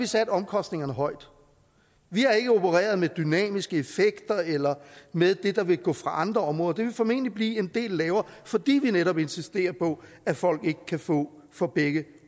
sat omkostningerne højt vi har ikke opereret med dynamiske effekter eller med det der vil gå fra andre områder det vil formentlig blive en del lavere fordi vi netop insisterer på at folk ikke kan få fra begge